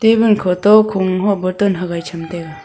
table khoto khung ho bottle hagai cham taiga.